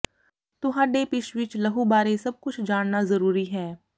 ਤੁਹਾਡੇ ਪਿਸ਼ ਵਿਚ ਲਹੂ ਬਾਰੇ ਸਭ ਕੁਝ ਜਾਣਨਾ ਜ਼ਰੂਰੀ ਹੈ